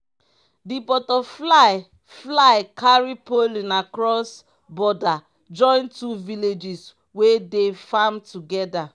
di butterfly fly carry pollen cross border join two villages wey dey farm together.